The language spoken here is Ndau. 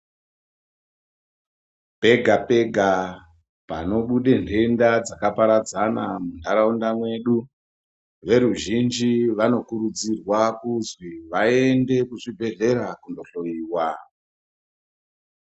Pega pega panobuda nhenda dzakaparadzana munharaunda mwedu , veruzhinji vanokurudzirwa kuti vaende kuzvibhedhlera vohloyiwa.